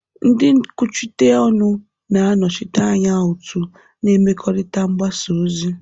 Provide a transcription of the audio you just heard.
Ndị nkwuchite ọnụ na-anọchite anya otu na mmekọrịta mgbasa ozi.